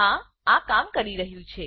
હા આ કામ કરી રહ્યું છે